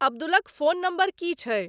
अब्दुलक phone number की छै